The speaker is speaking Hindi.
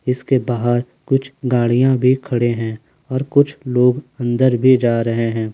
इसके बाहर कुछ गाड़ियां भी खड़े हैं और कुछ लोग अंदर भी जा रहे हैं।